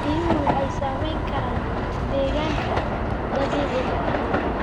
Biyuhu waxay saamayn karaan deegaanka dabiiciga ah.